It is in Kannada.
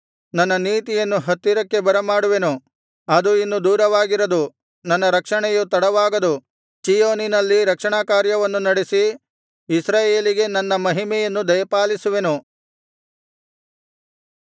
ನನ್ನ ನೀತಿಯನ್ನು ಹತ್ತಿರಕ್ಕೆ ಬರ ಮಾಡುವೆನು ಅದು ಇನ್ನು ದೂರವಾಗಿರದು ನನ್ನ ರಕ್ಷಣೆಯು ತಡವಾಗದು ಚೀಯೋನಿನಲ್ಲಿ ರಕ್ಷಣಾ ಕಾರ್ಯವನ್ನು ನಡೆಸಿ ಇಸ್ರಾಯೇಲಿಗೆ ನನ್ನ ಮಹಿಮೆಯನ್ನು ದಯಪಾಲಿಸುವೆನು